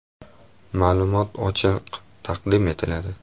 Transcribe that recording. Ma’lumotlar ochiq taqdim etiladi.